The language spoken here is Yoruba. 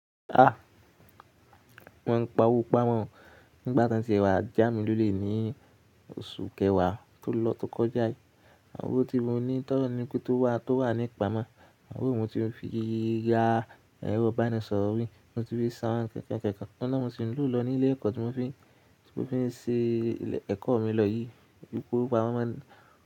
Ah! Mo ń pa owó pamọ́ nígbà tí wọ́n ti wá já mi lólè ní oṣù kẹwàá tó lọ tó kọjá yìí. Owó tí mo ní tọ́ ọlọrun ni pé tó wà tó wà nipamọ, owó ń mo tí lọ fi ra ẹrọ ìbánisọ̀rọ̀ mí, mo ti fi san nkan nkan nkan òun na ni mo si ń lo lọ ni ilé ẹ̀kọ́ tí mo fi tí mo fi ń ṣe ẹ̀kọ́ mi lọ yìí wípé owó pamọ́ máa ń.